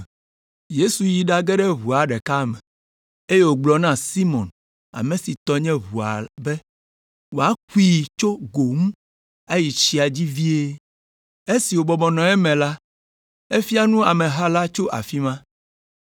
Yesu yi ɖage ɖe ʋua ɖeka me, eye wògblɔ na Simɔn ame si tɔ nye ʋua be wòakui tso go ŋu ayi tsia dzi vie. Esi wòbɔbɔ nɔ eme la, efia nu ameha la tso afi ma.